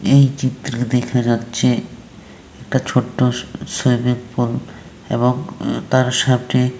এই চিত্রে দেখা যাচ্ছে একটা ছোট্ট স সুইমিংপুল এবং তার সামনে--